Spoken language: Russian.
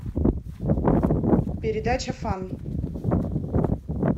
передача фан